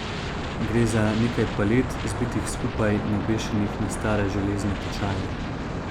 Gre za nekaj palet, zbitih skupaj in obešenih na stare železne tečaje.